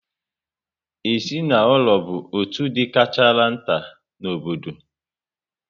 Ezinaụlọ bụ otú dị karịchara nta n'obodo